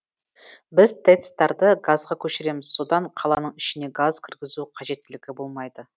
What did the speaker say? біз тэц тарды газға көшіреміз содан қаланың ішіне газ кіргізу қажеттілігі болмайды